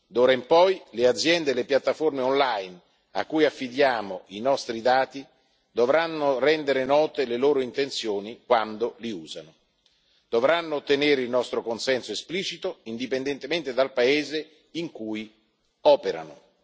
D'ora in poi le aziende e le piattaforme online a cui affidiamo i nostri dati dovranno rendere note le loro intenzioni quando li usano. Dovranno ottenere il nostro consenso esplicito, indipendentemente dal paese in cui operano.